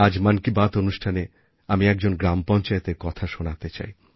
আজ মন কি বাত অনুষ্ঠানে আমি একজন গ্রামপঞ্চায়েতের কথা শোনাতে চাই